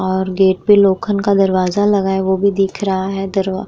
और गेट पे लोखन का दरवाजा लगाया वो भी दिख रहा है दरवा --